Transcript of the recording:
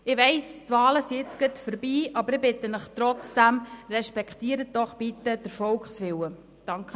Ich weiss, die Wahlen sind jetzt gerade vorbei, aber ich bitte Sie trotzdem: Respektieren Sie doch bitte den Volkswillen!